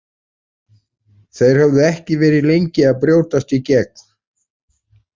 Þeir höfðu ekki verið lengi að brjótast í gegn.